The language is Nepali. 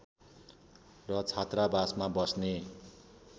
र छात्रावासमा बस्ने